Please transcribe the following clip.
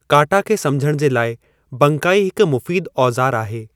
काटा खे समझणु जे लाइ बंकाई हिकु मुफ़ीदु ओज़ारु आहे।